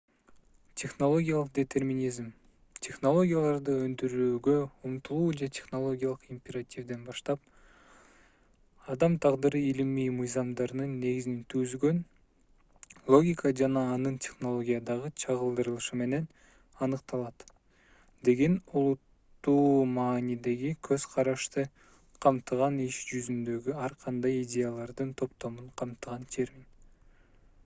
технологиялык детерминизм технологияларды өндүрүүгө умтулуу же технологиялык императивден баштап адам тагдыры илимий мыйзамдардын негизин түзгөн логика жана анын технологиядагы чагылдырылышы менен аныкталат деген олуттуу маанидеги көз карашты камтыган иш жүзүндөгү ар кандай идеялардын топтомун камтыган термин